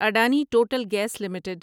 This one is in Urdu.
Adani total gas limited